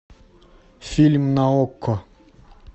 фильм на окко